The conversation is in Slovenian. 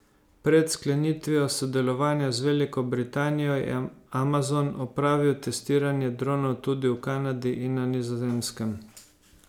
Pred sklenitvijo sodelovanja z Veliko Britanijo, je Amazon opravil testiranje dronov tudi v Kanadi in na Nizozemskem.